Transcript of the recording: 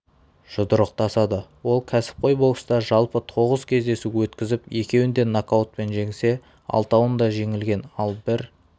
жұдырықтасады ол кәсіпқой бокста жалпы тоғыз кездесу өткізіп екеуінде нокаутпен жеңсе алтауында жеңілген ал бір